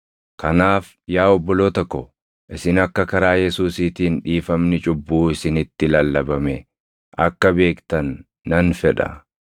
“Kanaaf yaa obboloota ko, isin akka karaa Yesuusiitiin dhiifamni cubbuu isinitti lallabame akka beektan nan fedha.